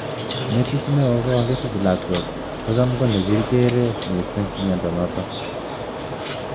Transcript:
Metit ne oo ko kakisich lakwet ko cham ko nekikeree mising miondo notok.